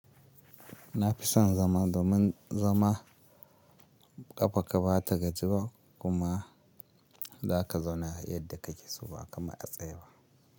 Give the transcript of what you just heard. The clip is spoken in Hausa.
Na fi son zama domin zama ƙafa ka ba ta gaji ba kuma za ka zauna yadda kake so ba kamar a tsaye ba.